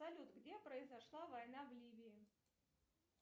салют где произошла война в ливии